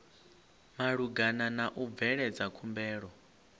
malugana na u bveledza khumbelo